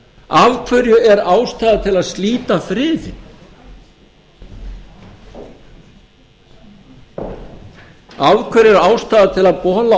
af hverju er ástæða til að slíta friðinn af hverju er ástæða til að bola